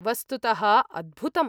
वस्तुतः अद्भुतम्।